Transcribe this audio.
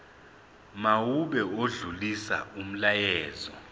mawube odlulisa umyalezo